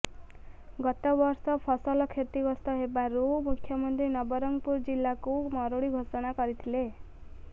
ଗତବର୍ଷ ଫସଲ କ୍ଷତିଗ୍ରସ୍ତ ହେବାରୁ ମୁଖ୍ୟମନ୍ତ୍ରୀ ନବରଙ୍ଗପୁର ଜିଲ୍ଲା କୁ ମରୁଡ଼ି ଘୋଷଣା କରିଥିଲେ